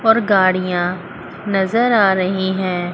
और गाड़ियाँ नज़र आ रही हैं।